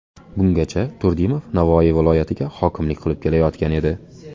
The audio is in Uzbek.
Bungacha Turdimov Navoiy viloyatiga hokimlik qilib kelayotgan edi.